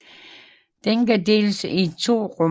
Den kan deles i to rum